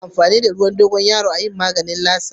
Ana amfani da ruwan dogoyaro a yin maganin latsa.